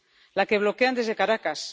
la que bloquean desde Caracas